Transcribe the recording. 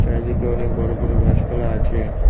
চারিদিকে অনেক বড়ো বড়ো গাছপালা আছে।